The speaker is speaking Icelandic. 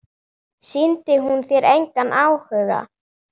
Sýndi hún þér engan áhuga?